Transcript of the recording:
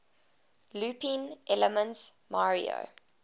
looping elements mario